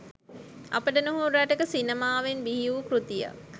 අපට නුහුරු රටක සිනමාවෙන් බිහි වූ කෘතියක්